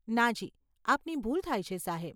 નાજી, આપની ભૂલ થાય છે, સાહેબ.